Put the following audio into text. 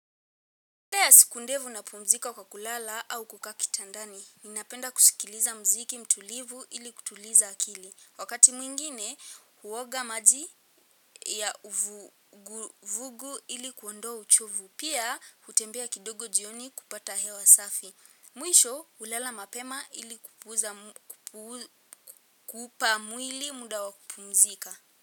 Baada ya siku ndefu napumzika kwa kulala au kukaa kitandani. Ninapenda kusikiliza muziki mtulivu ili kutuliza akili. Wakati mwingine, huoga maji ya uvuguvugu ili kuondoa uchovu. Pia, hutembea kidogo jioni kupata hewa safi. Mwisho, hulala mapema ili kupuuza, kuupa mwili muda wa kupumzika.